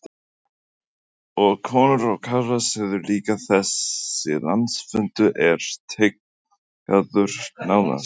Og konur og karlar, segirðu líka, þessi landsfundur er tileinkaður nánast konum?